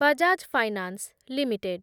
Bajaj finance limited